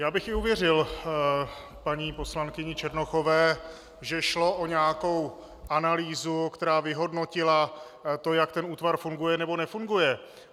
Já bych i uvěřil paní poslankyni Černochové, že šlo o nějakou analýzu, která vyhodnotila to, jak ten útvar funguje, nebo nefunguje.